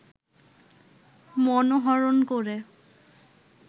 মনোহরণ করে